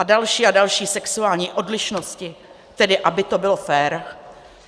A další a další sexuální odlišnosti, tedy aby to bylo fér.